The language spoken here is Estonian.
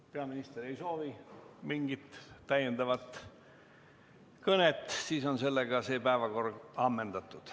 Kui peaminister ei soovi mingit täiendavat kõnet, siis on see päevakorrapunkt ammendatud.